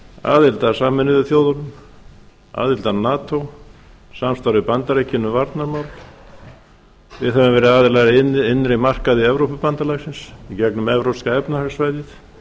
aðild að sameinuðu þjóðunum aðild að nato samstarf við bandaríkin um varnarmál við höfum verið aðilar að innri markaði evrópubandalagsins í gegnum evrópska efnahagssvæðið